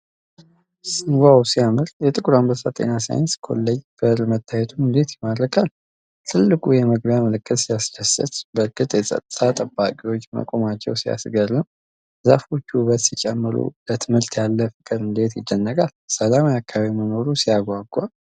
ሲያምር! የጥቁር አንበሳ ጤና ሳይንስ ኮሌጅ በር መታየቱ እንዴት ይማርካል! ትልቁ የመግቢያ ምልክት ሲያስደስት! በእርግጥ የፀጥታ ጠባቂዎች መቆማቸው ሲያስገርም! ዛፎቹ ውበት ሲጨምሩ! ለትምህርት ያለ ፍቅር እንዴት ይደነቃል! ሰላማዊ አካባቢ መኖሩ ሲያጓጓ!